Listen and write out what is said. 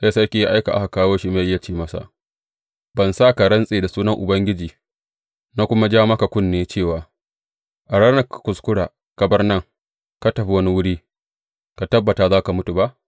Sai sarki ya aika a kawo Shimeyi, ya ce masa, Ban sa ka rantse da sunan Ubangiji, na kuma ja maka kunne cewa, A ranar da ka kuskura ka bar nan ka tafi wani wuri, ka tabbata za ka mutu ba’?